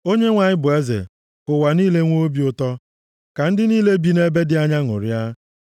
Onyenwe anyị bụ eze, + 97:1 \+xt Abụ 96:10; Abụ 99:1\+xt* ka ụwa niile nwee obi ụtọ; ka ndị niile bi nʼebe dị anya ṅụrịa.